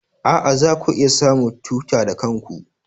A'a, zaku iya samun tuta da kanku.